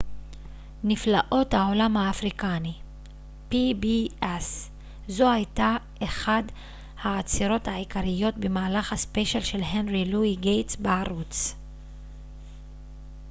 זו הייתה אחת העצירות העיקריות במהלך הספיישל של הנרי לואי גייטס בערוץ pbs נפלאות העולם האפריקני